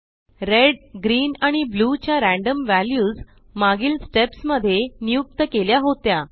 red green आणि blue ज्या random values मागील स्टेप्स मध्ये नियुक्त केल्या होत्या